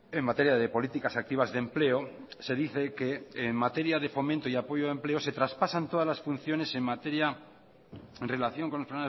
en materia de políticas activas de empleo se dice que en materia de fomento y apoyo de empleo se traspasan todas las funciones en materia en relación con los